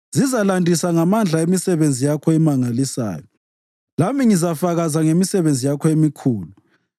Zizalandisa ngamandla emisebenzi yakho emangalisayo, lami ngizafakaza ngemisebenzi yakho emikhulu.